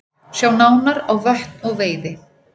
Sjá nánar á Vötn og veiði